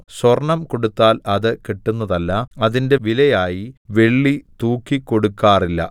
സ്വർണ്ണം കൊടുത്താൽ അത് കിട്ടുന്നതല്ല അതിന്റെ വിലയായി വെള്ളി തൂക്കിക്കൊടുക്കാറില്ല